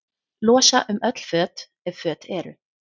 Losa um öll föt, ef föt eru.